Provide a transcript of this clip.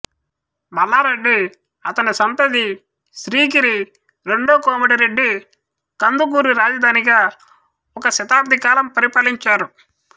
మల్లారెడ్డి అతని సంతతిశ్రీగిరి రెండో కోమటిరెడ్డి కందుకూరు రాజధానిగా ఒక శతాబ్దికాలం పరిపాలించారు